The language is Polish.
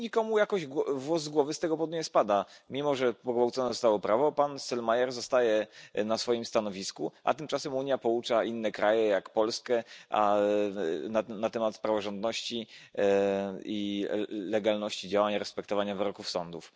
I nikomu jakoś włos z głowy z tego powodu nie spada, mimo że pogwałcone zostało prawo. Pan Selmayr zostaje na swoim stanowisku, a tymczasem Unia poucza inne kraje jak Polskę na temat praworządności i legalności działań respektowania wyroków sądów.